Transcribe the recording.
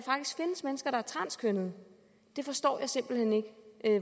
er transkønnede det forstår jeg simpelt hen ikke